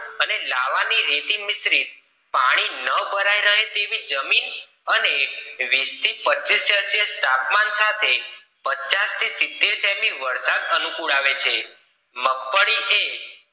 અને લાવાની રેતી મિશ્ર રીત પાણી ન ભરાઈ રહે જમીન અને વીસ પચીસ સેલ્સિયસ તાપમાન સાથે પચાસ કે સિતર સેમી વરસાદ અનુકૂળ આવે છે મગફળી એ